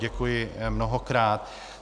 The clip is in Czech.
Děkuji mnohokrát.